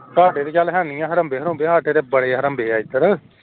ਤਾਡੇ ਚੱਲ ਹੈ ਨੀ ਹੜੰਬੇ ਹੂੜੰਬੇ ਸਾਡੇ ਤਾ ਬੜੇ ਹੜੰਬੇ ਆ ਏਧਰ